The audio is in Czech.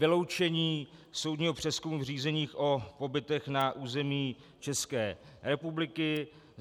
Vyloučení soudního přezkumu v řízeních o pobytech na území České republiky.